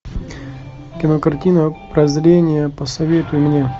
кинокартина прозрение посоветуй мне